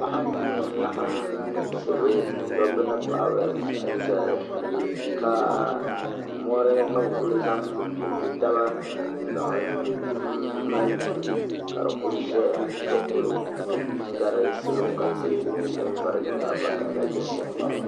Paɣa n nya ŋun laɣim salo dobba ni paɣaba n zali ka mori ka bi kuli zan n piɛnpɛ taba n laɣim mali duu ka di kuli zaya ka kuli du n gari salo ka tihi kuli nye din vari nye zaɣvaklaɣila ʒenʒe m baɣaba.